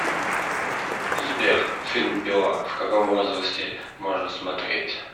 сбер фильм пила в каком возрасте можно смотреть